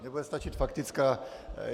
Mně bude stačit faktická.